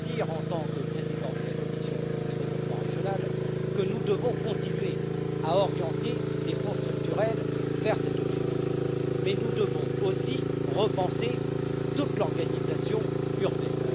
En tant que président de la commission du développement régional, j'ajoute que nous devons continuer à orienter des fonds structurels vers cet objectif, mais nous devons aussi repenser toute l'organisation urbaine.